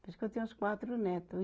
Acho que eu tenho uns quatro neto viu.